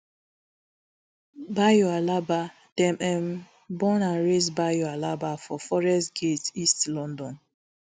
bayo alaba dem um born and raise bayo alaba for forest gate east london